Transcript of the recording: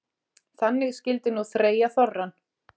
Þannig skyldi nú þreyja þorrann.